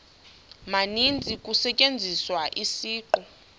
maninzi kusetyenziswa isiqu